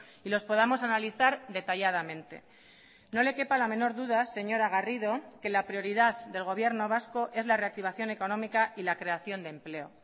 y los podamos analizar detalladamente no le quepa la menor duda señora garrido que la prioridad del gobierno vasco es la reactivación económica y la creación de empleo